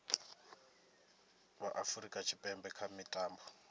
vha afurika tshipembe kha mitambo